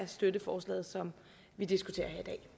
støtte forslaget som vi diskuterer